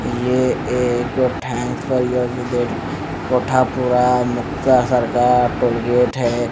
ये एक thanks for your visit कोठा पूरा मुक्ता सरकार टोल गेट है।